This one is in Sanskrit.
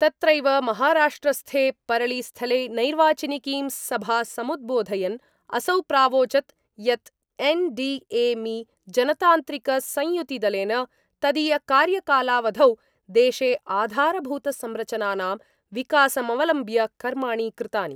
तत्रैव महाराष्ट्रस्थे परलीस्थले नैर्वाचनिकीं सभा समुद्बोधयन् असौ प्रावोचद् यत् एन् डी ए मि जनतान्त्रिकसंयुतिदलेन तदीयकार्यकालावधौ देशे आधारभूत संरचनानां विकासमवलम्ब्य कर्माणि कृतानि